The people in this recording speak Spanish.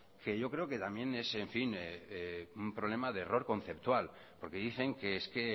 que yo creo que también es un problema de error conceptual porque dicen que es que